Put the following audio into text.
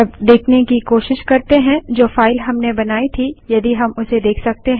अब देखने की कोशिश करते हैं जो फाइल हमने बनाई थी यदि हम उसे देख सकते हैं